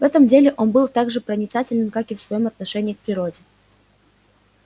в этом деле он был так же проницателен как и в своём отношении к природе